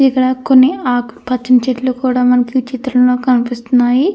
ఇక్కడ కొన్ని ఆకుపచ్చని చెట్లు కూడా మనకి ఈ చిత్రంలో కనిపిస్తున్నాయి.